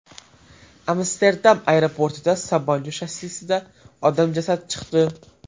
Amsterdam aeroportida samolyot shassisidan odam jasadi chiqdi.